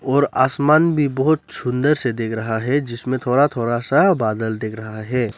और आसमान भी बहोत सुंदर से देख रहा है जिसमें थोड़ा थोड़ा सा बादल देख रहा है।